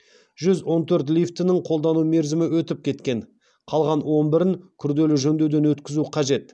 жүз он төрт лифттің қолдану мерзімі өтіп кеткен қалған он бірін күрделі жөндеуден өткізу қажет